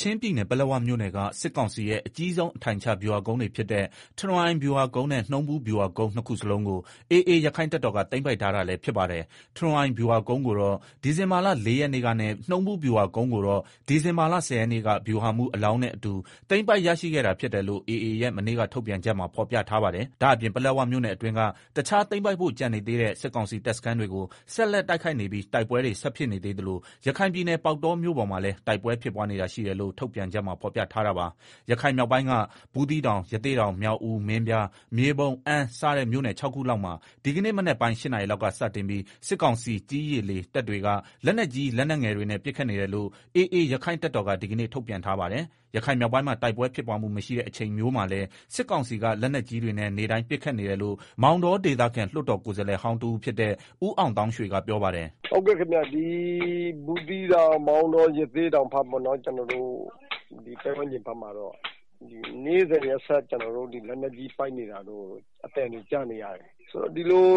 ချင်းပြည်နယ် ပလက်ဝမြို့နယ်က စစ်ကောင်စီရဲ့ အကြီးဆုံး အထိုင်ချဗျူဟာကုန်းတွေဖြစ်တဲ့ ထရွန်အိုင်ဗျူဟာကုန်းနဲ့ နှုံးဘူးဗျူဟာကုန်းနှစ်လုံးကို AA ရက္ခိုင့်တပ်တော်က သိမ်းပိုက်ထား တာလည်း ဖြစ်ပါတယ်။ တရွန်အိုင် ဗျူဟာကုန်းကိုတော့ ဒီဇင်ဘာလ ၄ရက်နေ့ကနဲ့ နှုံးဘူးဗျူဟာကုန်းကိုတော့ ဒီဇင်ဘာလ ၁ဝရက်နေ့က ဗျူးဟာမှူးအလောင်းနဲ့ အတူ သိမ်းပိုက်ရရှိခဲ့တာဖြစ်တယ်လို့ AA ရဲ့ မနေ့က ထုတ်ပြန်ချက်မှာ ဖော်ပြထားပါတယ်။ ဒါ့အပြင် ပလက်ဝမြို့နယ်အတွင်းက တခြားသိမ်းပိုက်ဖို့ကျန်နေသေးတဲ့ စစ်ကောင်စီတပ်စခန်းတွေကို ဆက်လက်တိုက်ခိုက်နေပြီး တိုက်ပွဲတွေ ဆက်ဖြစ်နေသေးသလို ရခိုင်ပြည်နယ် ပေါက်တောမြို့ပေါ်မှာလည်း တိုက်ပွဲဖြစ်ပွားနေတာရှိတယ်လို့ ထုတ်ပြန်ချက်မှာ ဖော်ပြထား တာပါ။ ရခိုင်မြောက်ပိုင်းက ဘူးသီးတောင်၊ ရသေ့တောင်၊ မြောက်ဦး၊ မင်းပြား၊ မြေပုံ၊ အမ်း စတဲ့ မြို့နယ် ၆ခုလောက်မှာ ဒီကနေ့ မနက်ပိုင်း ၈ နာရီလောက်က စတင်ပြီး စစ်ကောင်စီ ကြည်း၊ ရေ၊ လေ တပ်တွေက လက်နက်ကြီး လက်နက်ငယ်တွေနဲ့ ပစ်ခတ်နေတယ်လို့ AA ရက္ခိုင့်တပ် တော်က ဒီကနေ့ ထုတ်ပြန်ထားပါတယ်။ ရခိုင်မြောက်ပိုင်းမှာ တိုက်ပွဲ ဖြစ်ပွားမှုမရှိတဲ့ အချိန်မျိုးမှာလည်း စစ်ကောင်စီက လက်နက်ကြီးတွေနဲ့ နေ့တိုင်း ပစ်ခတ်နေတယ်လို့ မောင်တောဒေသခံ လွှတ်တော်ကိုယ်စားလှယ်ဟောင်းတဦးဖြစ်တဲ့ အောင်သောင်းရွှေက ပြောပါတယ်။ “ ဘူးသီးတောင် မောင်တော ရသေ့တောင် ဘက်မှာတော့ နေ့စဉ်နေ့တိုင်း လက်နက်ကြီးပစ်နေသံတွေ ကြားနေရတယ်၊ ဒီလို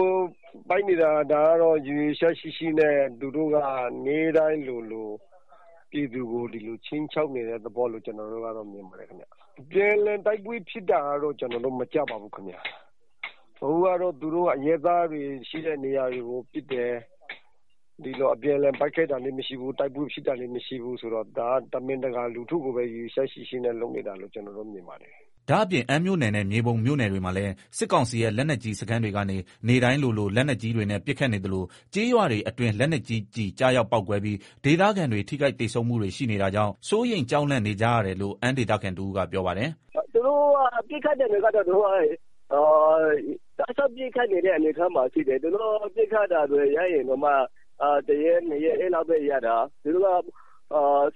ပစ်နေတာကတော့ ရည်ရွယ်ချက်ရှိရှိ နေ့တိုင်းလိုလိုပြည်သူကို ဒီလို ခြိမ်းခြောက်နေတဲ့ သဘောလို့ ကျနော်တို့ကတော့ မြင်ပါတယ်၊ အပြန်အလှန် တိုက်ပွဲဖြစ်တာတော့ ကျနော်တို့ မကြားပါဘူး၊ အခုကတော့ သူတို့က အရပ်သားတွေရှိတဲ့နေရာကိုပစ်တယ်၊ အပြန်အလှန်ပစ်ခတ်တာလည်းမရှိဘူး တိုက်ပွဲဖြစ်တာလည်းမရှိဘူး ဆိုတော့ ဒါက တမင်တကာ လူထုကို ရည်ရွယ်ချက်ရှိရှိနဲ့ လုပ်နေ တာလို့ ကျနော်တို့ မြင်ပါတယ်။” ဒါ့အပြင် အမ်းမြို့နယ်နဲ့ မြေပုံ မြို့နယ်တွေမှာလည်း စစ်ကောင်စီရဲ့ လက်နက်ကြီးစခန်းတွေကနေ နေ့တိုင်းလိုလို လက်နက်ကြီးတွေနဲ့ ပစ်ခတ်နေသလို ကျေးရွာတွေ အတွင်း လက်နက်ကြီးကျည် ကျရောက် ပေါက်ကွဲပြီး ဒေသခံ ထိခိုက်သေဆုံးမှုတွေ ရှိနေတာကြောင့် စိုးရိမ်ကြောက်လန့် နေကြရတယ်လို့ အမ်းဒေသခံ တဦးက ပြောပါတယ်။ “ ပစ်ခတ်တာတွေကတော့ သူတို့က တောက်လျှောက်ပစ်ခတ်နေတဲ့ အနေအထားမှာရှိတယ်၊ သူတို့ပစ်ခတ်တာတွေ ရပ်ရင်တောင်မှ တရက် နှစ်ရက်ပဲရပ်တာ၊ သူတို့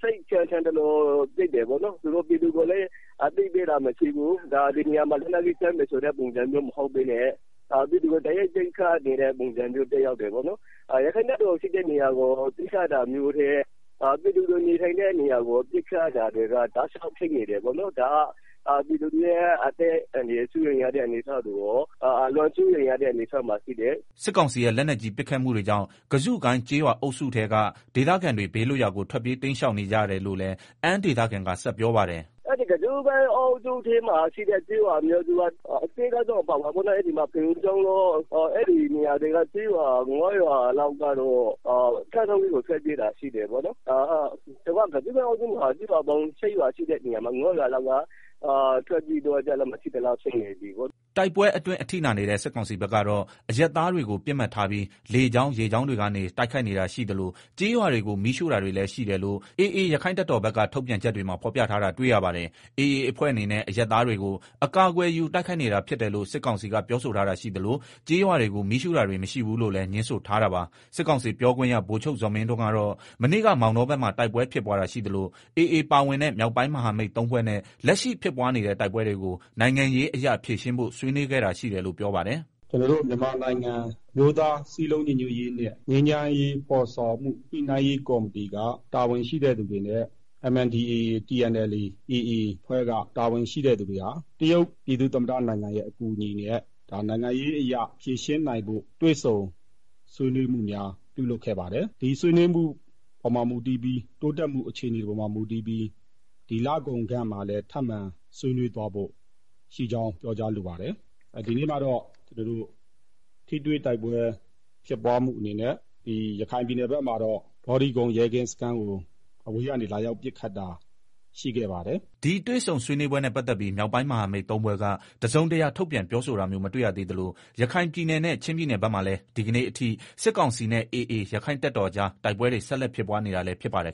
က စိတ်ထင်သလို ပစ်တယ်ပေါ့နော်၊ ပြည်သူကိုလည်း အသိပေးတာ မရှိဘူး ပြည်သူကို တိုက်ရိုက်ပစ်ခတ်နေတဲ့ ပုံစံ မျိုးပဲ။ ရက္ခိုင့်တပ်တော်ရှိတဲ့နေရာကို ပစ်ခတ်တာထက် ပြည်သူတွေနေထိုင်တဲ့နေရာကို ပစ်ခတ်တာများတယ်၊အဲဒီဒေသမှာ ပြည်သူတွေရဲ့ အသက်အန္တရာယ် စိုးရိမ်ရတဲ့ အခြေအနေရှိတယ်။ ” စစ်ကောင်စီရဲ့ လက်နက်ကြီး ပစ်ခတ်မှုတွေကြောင့် ကဇုကိုင်း ကျေးရွာ အုပ်စုထဲကဒေ သခံတွေ ဘေးလွတ်ရာ ကို ထွက်ပြေးတိမ်းရှောင်နေကြရတယ်လို့လည်း အမ်းဒေသခံကဆက် ပြောပါတယ်။ “ကဇုကိုင်းအုပ်စုထဲမှာ ရှိတဲ့ ကျေးရွာအများစုကတော့ ဖရုံချောင်းတို့ အဲဒီ မှာ ကျေးရွာငါး ရွာလောက်က ကမ်းထောင်းကြီးကို ထွက်ပြေးတာရှိတယ်ပေါ့နော်၊ ကျေးရွာ ၈ရွာရှိတဲ့ အထဲက ၅ရွာလောက်က ဒေသခံတွေ ထွက်ပြေးသွားကြလို့ မရှိသ လောက်ဖြစ်နေပါပြီ။” တိုက်ပွဲအတွင်း အထိနာနေတဲ့ စစ်ကောင်စီဘက်ကတော့ အရပ်သားတွေကို ပစ်မှတ်ထားပြီး လေကြောင်း ရေကြောင်းတွေကနေ တိုက်ခိုက်နေတာရှိသလို ကျေးရွာတွေကို မီးရှို့တာတွေ လည်းရှိတယ်လို့ AA ရက္ခိုင့်တပ်တော်ဘက် ထုတ်ပြန်ချက်တွေမှာ ဖော်ပြထားတာ တွေ့ရပါတယ်။ AA အဖွဲ့အနေနဲ့ အရပ် သားတွေကို အကာအကွယ်ယူ တိုက်ခိုက်နေတာဖြစ်တယ်လို့ စစ်ကောင်စီကပြောဆိုထားတာရှိသလို ကျေးရွာတွေကို မီးရှို့တာတွေ မရှိဘူးလို့လည်းငြင်းဆိုထားတာပါ။ စစ်ကောင်စီပြောခွင့်ရ ဗိုလ်ချုပ်ဇော်မင်းထွန်းကတော့ မနေ့က မောင်တောဘက်မှာ တိုက်ပွဲဖြစ်ပွားတာရှိသလို AA ပါဝင်တဲ့ မြောက်ပိုင်းမဟာမိတ် ၃ဖွဲ့နဲ့ လက်ရှိဖြစ်ပွားနေတဲ့ တိုက်ပွဲတွေကို နိုင်ငံရေးအရ ဖြေရှင်းဖို့ ဆွေးနွေးခဲ့တာ ရှိတယ်လို့ ပြောပါတယ်။ “ ကျနော်တို့ မြန်မာနိုင်ငံ အမျိုးသားစည်းလုံး ညီညွတ်ရေးနဲ့ ငြိမ်းချမ်းရေး ဖော်ဆောင်မှုညှိနှိုင်း ရေးကော်မတီက တာဝန်ရှိတဲ့သူတွေနဲ့ MNDAA၊ TNLA၊ AA အဖွဲ့က တာဝန်ရှိတဲ့သူတွေဟာ တရုတ်ပြည်သူ့ သမ္မတနိုင်ငံရဲ့ အကူအညီနဲ့ ဒါနိုင်ငံရေးအရ ဖြေရှင်းနိုင်ဖို့ တွေ့ဆုံဆွေး နွေးမှုများ၊ ပြုလုပ်ခဲ့ပါတယ်၊ ဒီဆွေးနွေးမှုပေါ်မှာ မူတည်ပြီး တိုးတက်မှု အခြေအနေပေါ်မှာ မူတည်ပြီး ဒီလကုန်ပိုင်းမှာလည်းထပ်မံ ဆွေးနွေးသွားဖို့ရှိကြောင်း ပြောကြားလိုပါတယ်။ ဒီနေ့မှာတော့ ကျနော်တို့ ထိတွေ့တိုက်ပွဲဖြစ်ပွားမှုအနေနဲ့ ရခိုင်ပြည်နယ်ဘက်မှာတော့ ဘောဓိကုန်း ရဲကင်းစခန်းကို အဝေးကနေ လာရောက်ပစ်ခတ်တာ ရှိခဲ့ပါတယ်။” ဒီတွေ့ဆုံဆွေးနွေးပွဲနဲ့ ပတ်သက်ပြီး မြောက်ပိုင်းမဟာမိတ် ၃ဖွဲ့က တစုံတရာ ထုတ်ပြန် ပြောဆိုတာမျိုး မတွေ့ရသေးသလို ရခိုင်ပြည်နယ်နဲ့ ချင်းပြည်နယ်ဘက်မှာလည်း ဒီကနေ့အထိ စစ်ကောင်စီနဲ့ AA ရက္ခိုင့်တပ်တော်ကြား တိုက်ပွဲတွေ ဆက်လက်ဖြစ်ပွား နေတာလည်းဖြစ် ပါတယ်